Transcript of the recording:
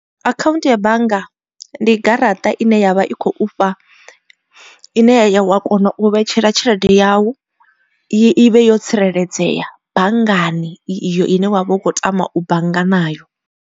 Akhaunthu ya bannga ndi garaṱa ine yavha i khou fha, ine wa kona u vhetshela tshelede yau i vhe yo tsireledzea banngani iyo ine wa vha u khou tama u bannga nayo.